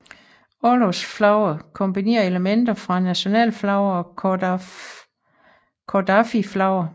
Orlogsflaget kombinerer elementer fra nationalflaget og koffardiflaget